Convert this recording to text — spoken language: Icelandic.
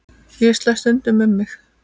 Ég slæ stundum um mig.